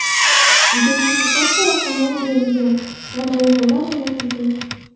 Identifikatsiya raqamlari berilgan va nominallar o‘rnatilgan.